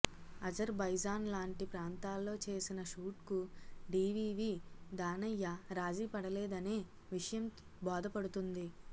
అజర్ బైజాన్ లాంటి ప్రాంతాల్లో చేసిన షూట్కు డీవీవీ దానయ్య రాజీ పడలేదనే విషయం బోధపడుతుంది